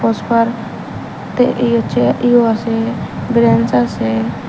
বসবার তে এই হচ্ছে এই ও আসে ব্রেঞ্চ আসে।